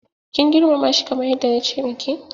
Kin girmamashi kamar yadda nace maki?